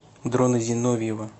дрона зиновьева